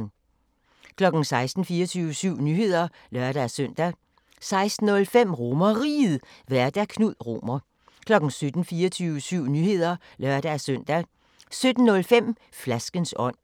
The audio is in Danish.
16:00: 24syv Nyheder (lør-søn) 16:05: RomerRiget, Vært: Knud Romer 17:00: 24syv Nyheder (lør-søn) 17:05: Flaskens ånd